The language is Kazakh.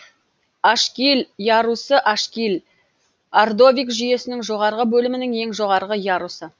ашгиль ярусы ашгиль ордовик жүйесінің жоғарғы бөлімінің ең жоғарғы ярусы